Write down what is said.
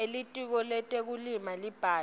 elitiko letekulima lelibhalwe